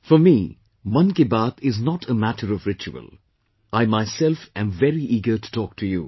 For me, 'Mann Ki Baat' is not a matter of ritual; I myself am very eager to talk to you